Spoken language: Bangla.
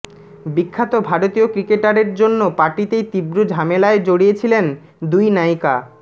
বিখ্যাত ভারতীয় ক্রিকেটারের জন্য পার্টিতেই তীব্র ঝামেলায় জড়িয়েছিলেন দুই নায়িকা